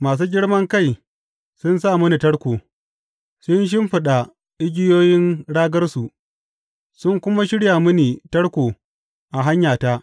Masu girman kai sun sa mini tarko; sun shimfiɗa igiyoyin ragarsu sun kuma shirya mini tarko a hanyata.